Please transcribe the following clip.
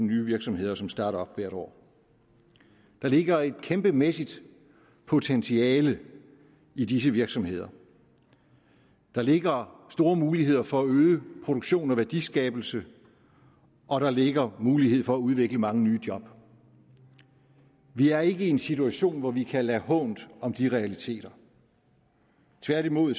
nye virksomheder som starter op hvert år der ligger et kæmpemæssigt potentiale i disse virksomheder der ligger store muligheder for at øge produktion og værdiskabelse og der ligger mulighed for at udvikle mange nye job vi er ikke i en situation hvor vi kan lade hånt om de realiteter tværtimod